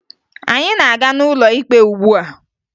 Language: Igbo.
Anyị na-aga n'ụlọ ikpe ugbua